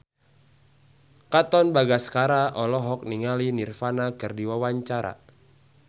Katon Bagaskara olohok ningali Nirvana keur diwawancara